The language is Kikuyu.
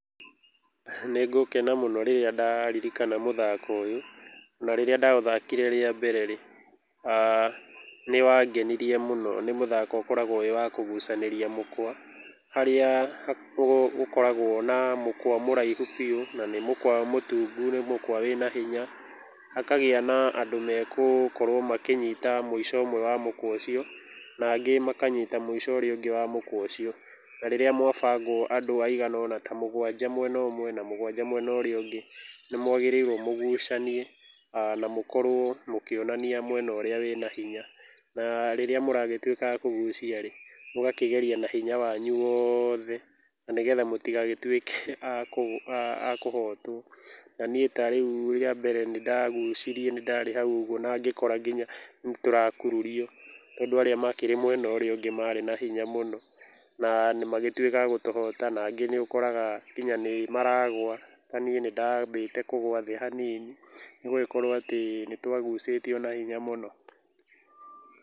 Nĩngũkena mũno rĩrĩa ndaririkana mũthako ũyũ na rĩrĩa ndaũthakire rĩa mbere rĩ, nĩwangenirie mũno. Nĩ mũthako ũkoragũo wĩ wa kũgucanĩria mũkwa harĩa ũkoragwo na mũkwa mũraihu biũ na nĩ mũkwa mũtungu nĩ mũkwa wĩna hinya. Hakagĩa na andũ megũkorwo makĩnyita mũico ũmwe wa mũkwa ũcio na angĩ makanyita mũico ũrĩa ũngĩ wa mũkwa ũcio. Na rĩrĩa mwabangwo andũ aigana ũna ta mũgwanja mwena ũmwe na mũgwanja mwena ũrĩa ũngĩ nĩ mwagĩrĩirwo mũgucanie na mũkorũo mũkĩonania mwena ũrĩa wĩna hinya. Na rĩrĩa mũragĩtuĩka a kũgucia rĩ, mũgakĩgeria na hinya wanyu wothe na nĩgetha mũtigagĩtuĩke a kũhotwo. Na niĩ ta rĩu rĩa mbere nĩ ndagucirie nĩ ndarĩ hau ũguo na ngĩkora nginya nĩtũrakururio tondũ arĩa makĩrĩ mwena ũrĩa ũngĩ marĩ na hinya mũno na magĩtuĩka a gũtũhota. Nangĩ nĩ ũkoraga nginya nĩmaragũa, ta niĩ nĩ ndambĩte kũgũa thĩ hanini nĩ gũgĩkorũo atĩ nĩ twagucĩtio na hinya mũno.